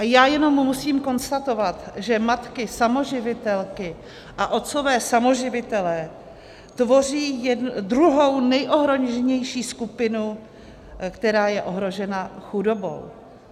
A já jenom musím konstatovat, že matky samoživitelky a otcové samoživitelé tvoří druhou nejohroženější skupinu, která je ohrožena chudobou.